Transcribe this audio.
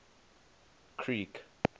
creek